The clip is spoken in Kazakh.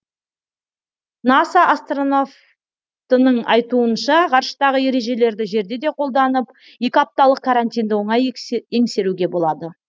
наса астронавтының айтуынша ғарыштағы ережелерді жерде де қолданып екі апталық карантинді оңай еңсеруге болады